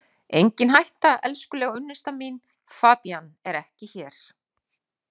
Engin hætta, elskulega unnusta mín, Fabienne er ekki hér